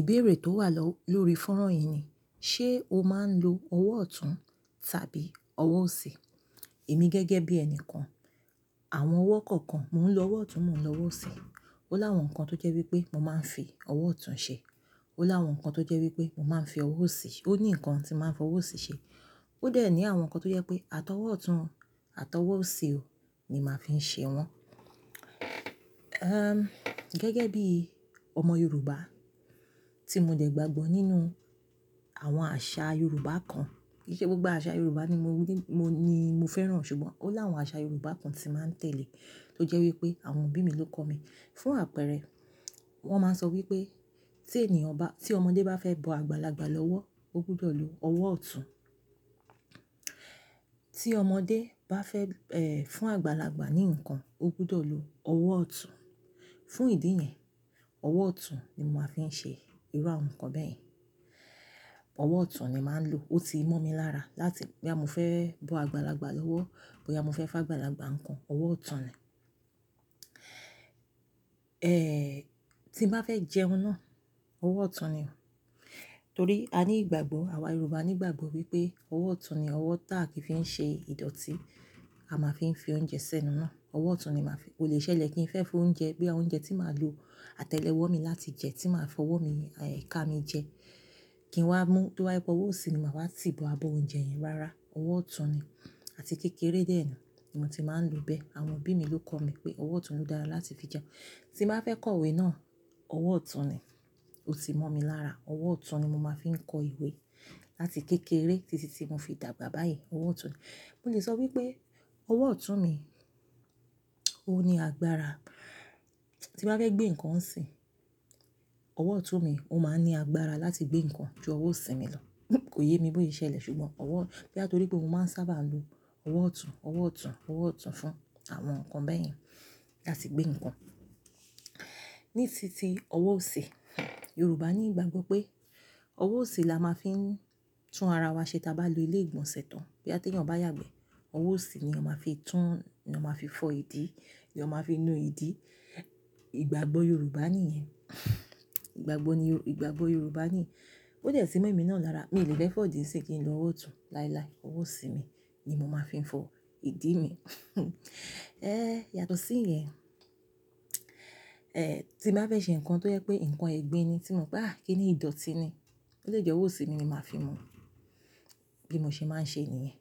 Ìbéèrè tó wà low-lórí fọ́nrán yìí ni, ṣe o máa ń lo ọwọ́ ọ̀tún tàbí ọwọ́ òsì? Èmi gẹ́gẹ́ bí ẹni kan, àwọn ọwọ́ kọ̀ọ̀kan, mò ń lo ọwọ́ ọ̀tún, mò ń lo ọwọ́ òsì. Ó láwọn nǹkan tó jẹ́ wípé mo máa ń fi ọwọ́ ọ̀tún ṣe, ó láwọn nǹkan tó jẹ́ wípé mo máa ń fi ọwọ́ òsì ṣe. Ó ní nǹkan tí màá ń fi ọwọ́ òsì ṣe. Ó dẹ̀ ní àwọn nǹkan tó jẹ́ pé àti ọwọ́ ọ̀tún o, àti ọwọ́ òsì o ni màá fi ń ṣe wọ́n. Gẹ́gẹ́ bí ọmọ Yorùbá tí mo dẹ̀ gbàgbọ́ nínú àwọn àṣà Yorùbá kan, kì ṣe gbogbo àṣà Yorùbá ni mo ni, mo ni mo fẹ́ràn ṣùgbọ́n ó láwọn àṣà Yorùbá kan tí màá ń tẹ̀lé tó jẹ́ wípé àwọn òbí mi ló kọ́ mi. Fún àpẹẹrẹ, wọ́n máa ń sọ wípé tí ènìyàn bá, tí ọmọdé bá fẹ́ bọ àgbàlagbà lọ́wọ́, ó gbúdọ̀ lo ọwọ́ ọ̀tún. Tí ọmọdé bá fẹ́ fún àgbàlagbà ní nǹkan, ó gbúdọ̀ lo ọwọ́ ọ̀tún. Fún ìdí yẹn, ọwọ́ ọ̀tún ni mo máa ń fi ṣe irú àwọn nǹkan bẹ́ẹ̀ yẹn. Ọwọ́ ọ̀tún ni màá ń lo, ó ti mọ̀ mi lára láti bó yá mo fẹ́ bọ àgbàlagbà lọ́wọ́, bó yá mo fẹ́ fún àgbàlagbà nǹkan, ọwọ́ ọ̀tún ni. Tí n bá fẹ́ jẹun náà, ọwọ́ ọ̀tún ni. Torí a ní ìgbàgbọ́, àwa Yorùbá ní ìgbàgbọ́ wípé ọwọ́ ọ̀tún ni ọwọ́ táàkì fi ń ṣe ìdọ̀tí, a máa ń fi ń fi oúnjẹ sẹ́nu náà. Ọwọ́ ọ̀tún ni màá fi-- kò lè ṣẹlẹ̀ kí n fẹ́ fi oúnjẹ, bó yá oúnjẹ tí màá lo àtẹ́lẹwọ́ mi láti jẹ, tí màá fọwọ́ mi e ká mi jẹ, kí n wá mú, tí ó wá jẹ́ wípé ọwọ́ òsì ni màá wá ti bọ abọ́ oúnjẹ yẹn. Rárá, ọwọ́ ọ̀tún ni. Àti kékeré dẹ́ ni, mo ti máa ń lo bẹ́ẹ̀. Àwọn òbí mi ló kọ́ mi pé ọwọ́ ọ̀tún ló dára láti fi jẹun. Tí n bá fẹ́ kọ ìwé náà, ọwọ́ ọ̀tún ni. Ó ti mọ̀ mi lára. Ọwọ́ ọ̀tún ni mo máa ń fi kọ ìwé láti kékeré títí tí mo fi dàgbà báyìí, ọwọ́ ọ̀tún ni. Mo lè sọ wípé ọwọ́ ọ̀tún mi ó ní agbára. Tí n bá fẹ́ gbé nǹkan sìn, ọwọ́ ọ̀tún mi ó máa ń ní agbára láti gbé nǹkan ju ọwọ́ òsì mi lọ. Kò yé mi bó ṣẹlẹ̀ ṣùgbọ́n ọwọ́, bó yá n torí pé mo máa ń sábà lo ọwọ́ ọ̀tún, ọwọ́ ọ̀tún, ọwọ́ ọ̀tún fún àwọn nǹkan bẹ́ẹ̀ yẹn láti gbé nǹkan. Nísinsìnyí, ọwọ́ òsì, Yorùbá ní ìgbàgbọ́ pé ọwọ́ òsì la máa ń fi tún ara wa ṣe tí a bá lo ilé ìgbọ̀nsẹ̀ tán. Bó yá tí ẹyàn bá yàgbẹ̀, ọwọ́ òsì ni a máa fi tún, ni a máa fi fọ́ ìdí, ni a máa fi nu ìdí. Ìgbàgbọ́ Yorùbá ni yẹn. Ìgbàgbọ́ ni yo, ìgbàgbọ́ Yorùbá ni. Ó dẹ̀ ti mọ̀ èmi náà lára, mi lè fẹ́ fọ̀dí sín kí n lo ọwọ́ ọ̀tún láílái, ọwọ́ òsì mi ni mo máa fi ń fọ ìdí mi. Ẹ́ yàtọ̀ sí ìyẹn, e tí n bá fẹ́ ṣe nǹkan tó jẹ́ pé nǹkan ẹ̀gbin ni tí mo mopé à kí ni ìdọ̀tí ni, ó lè jẹ́ ọwọ́ òsì mi ni màá fi mú bí mo ṣe máa ń ṣe ni yẹn.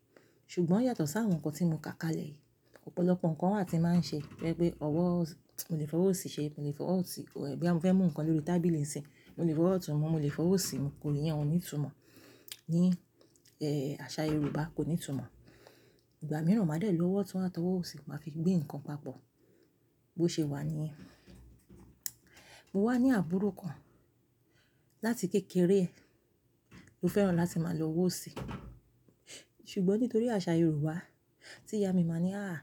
Ṣùgbọ́n yàtọ̀ sí àwọn nǹkan tí mo ká kalẹ̀ yìí. Ọ̀pọ̀lọpọ̀ nǹkan wà tí màá ń ṣe, tí ó jẹ́ pé ọwọ́, mo lè fọwọ́ òsì ṣe, mo lè fọwọ́ òsì, bó yá mo fẹ́ mú nǹkan lórí tábìlì ń sin, mo lè fọwọ́ ọ̀tún mú, mo lè fọwọ́ òsì mú, kò ní ìyẹn oní ìtumọ̀ ní e àṣà Yorùbá, kò ní túmọ̀. Ìgbà mìíràn màá dẹ̀ lo ọwọ́ ọ̀tún àti ọwọ́ òsì máa fi gbé nǹkan papọ̀ bó ṣe wà níì. Mo wá ní àbúrò kan láti kékeré e ló fẹ́ràn láti máa lo ọwọ́ òsì. Ṣùgbọ́n nítorí àṣà Yorùbá tí ìyá mi máa ń ní, "àáa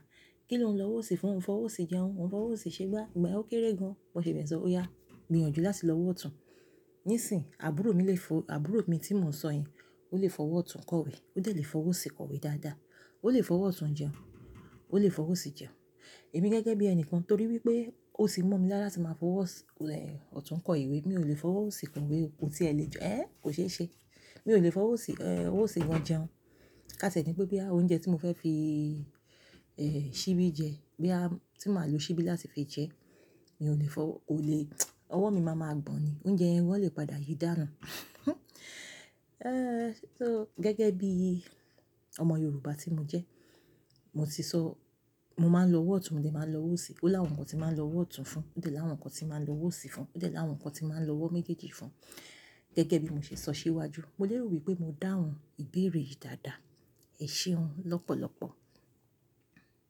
kín ló ń lo ọwọ́ òsì fún? Ó ń fọwọ́ òsì jẹun, ó ń fọwọ́ òsì ṣé gbá, ìgbà yẹn ó kéré gan, bọ̀ ṣe bẹ́ẹ̀ sọ, ó yá gbìyànjú láti lo ọwọ́ ọ̀tún." Nísìnyí, àbúrò mi lè fọ-- àbúrò mi tí mò ń sọ yẹn ó lè fọwọ́ ọ̀tún kọ ìwé, ó dẹ̀ lè fọwọ́ òsì kọ ìwé dáadáa. Ó lè fọwọ́ ọ̀tún jẹun, ó lè fọwọ́ òsì jẹun. Èmi gẹ́gẹ́ bí ẹni kan torí wípé ó sì mọ̀ mi lára tí màá fọwọ́ s-e- ọ̀tún kọ ìwé, mi ò lè fọwọ́ òsì kọ ìwé o, kò tí ẹ lè jọ, ẹ́ kò ṣee ṣe. Mi ò lè fọwọ́ òsì e--, ọwọ́ òsì wọn jẹun. Ká ti e ni pé bó yá oúnjẹ tí mo fẹ́ fi e- ṣíbí jẹ, bó yá tí màá lo ṣíbí láti fi jẹ, mi ò lè fọwọ́, kò lè ọwọ́ mi máa ma gbọ̀n ni. Oúnjẹ wọ́n lè padà yìí dánu. So gẹ́gẹ́ bí ọmọ Yorùbá tí mo jẹ, mo ti sọ, mo máa ń lo ọwọ́ ọ̀tún, mo dè máa ń lo ọwọ́ òsì. Ó láwọn nǹkan tí màá ń lo ọwọ́ ọ̀tún fún, ó dè láwọn nǹkan tí màá ń lo ọwọ́ òsì fún, ó dè láwọn nǹkan tí màá ń lo ọwọ́ méjèèjì fún. Gẹ́gẹ́ bí mo ṣe sọ síwájú, mo lè rò wípé mo dáhùn ìbéèrè yìí dáadáa. Ẹ̀ ṣeun lọ́pọ̀lọpọ̀.